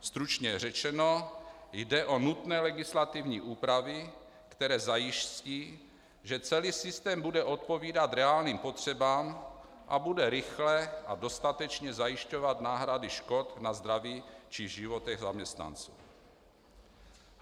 Stručně řečeno, jde o nutné legislativní úpravy, které zajistí, že celý systém bude odpovídat reálným potřebám a bude rychle a dostatečně zajišťovat náhrady škod na zdraví či životech zaměstnanců.